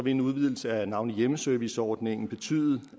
en udvidelse af navnlig hjemmeserviceordningen betyde